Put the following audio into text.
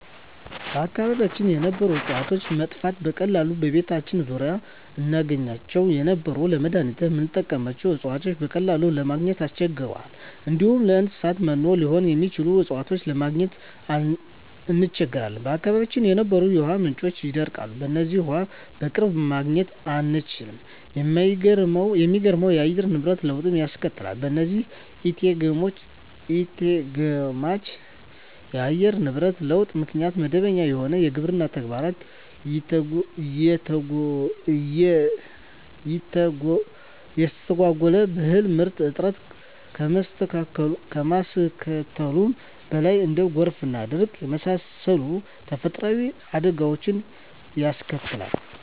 በአካባቢያችን የነበሩ እጽዋቶች መጥፋት፤ በቀላሉ በቤታችን ዙሪያ እናገኛቸው የነበሩ ለመዳኒትነት ምንጠቀምባቸው እጽዋቶችን በቀላሉ ለማግኝ እንቸገራለን፣ እንዲሁም ለእንሰሳት መኖ ሊሆኑ የሚችሉ እጽዋትን ለማግኘት እንቸገራለን፣ በአካባቢያችን የነበሩ የውሃ ምንጮች ይደርቃሉ በዚህም ውሃ በቅርብ ማግኘት እንቸገራለን፣ የማይገመት የአየር ንብረት ለውጥ ያስከትላል በዚህም ኢተገማች የአየር ንብረት ለውጥ ምክንያት መደበኛ የሆነው የግብርና ተግባር ይተጓጎላል የእህል ምርት እጥረት ከማስከተሉም በላይ እንደ ጎርፍና ድርቅ የመሳሰሉ ተፈጥሮአዊ አደጋወችንም ያስከትላል።